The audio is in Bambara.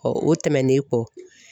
o tɛmɛnen kɔ